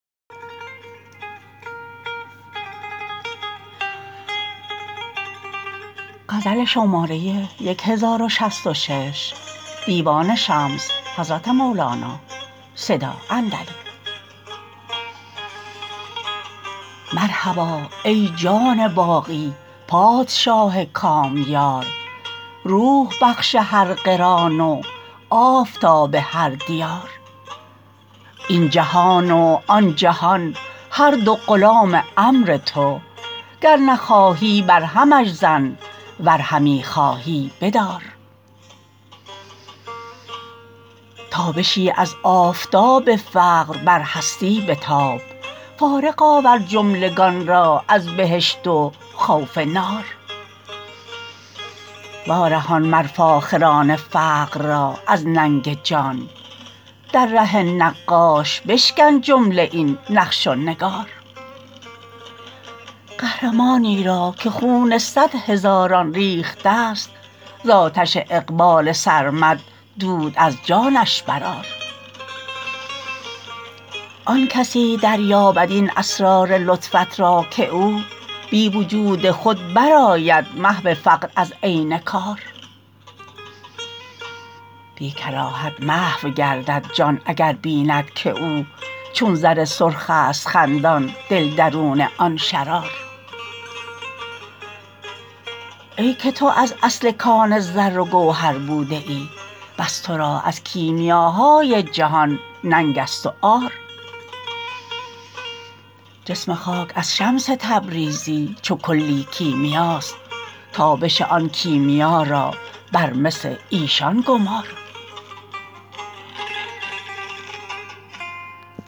مرحبا ای جان باقی پادشاه کامیار روح بخش هر قران و آفتاب هر دیار این جهان و آن جهان هر دو غلام امر تو گر نخواهی برهمش زن ور همی خواهی بدار تابشی از آفتاب فقر بر هستی بتاب فارغ آور جملگان را از بهشت و خوف نار وارهان مر فاخران فقر را از ننگ جان در ره نقاش بشکن جمله این نقش و نگار قهرمانی را که خون صد هزاران ریخته ست ز آتش اقبال سرمد دود از جانش برآر آن کسی دریابد این اسرار لطفت را که او بی وجود خود برآید محو فقر از عین کار بی کراهت محو گردد جان اگر بیند که او چون زر سرخست خندان دل درون آن شرار ای که تو از اصل کان زر و گوهر بوده ای پس تو را از کیمیاهای جهان ننگست و عار جسم خاک از شمس تبریزی چو کلی کیمیاست تابش آن کیمیا را بر مس ایشان گمار